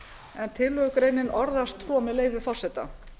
en tillögugreinin orðast svo með leyfi forseta